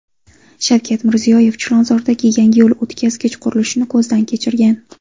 Shavkat Mirziyoyev Chilonzordagi yangi yo‘l o‘tkazgich qurilishini ko‘zdan kechirgan.